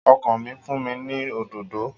Ọkọ mi fún mi ní òdòdó